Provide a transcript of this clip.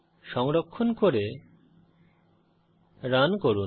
সংরক্ষণ করে রান করুন